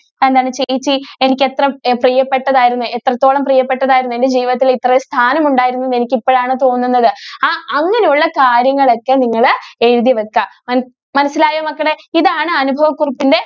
എന്താണ് ചേച്ചി എനിക്ക് എത്ര പ്രിയപ്പെട്ടതായിരുന്നു എത്രത്തോളം പ്രിയപ്പെട്ടതായിരുന്നു. എൻ്റെ ജീവിതത്തിൽ ഇത്രയും സ്ഥാനം ഉണ്ടായിരുന്നു എന്ന് എനിക്ക് ഇപ്പോൾ ആണ് തോന്നുന്നത് അങ്ങനെ ഉള്ള കാര്യങ്ങൾ ഒക്കെ നിങ്ങൾ എഴുതി വെക്ക മനസ്~മനസ്സിലായോ മക്കളെ ഇതാണ് ആണ് അനുഭവ കുറിപ്പിന്റെ